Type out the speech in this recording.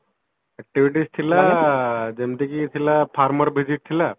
activities ଥିଲା ଯେମିତିକି farmer visit ଥିଲା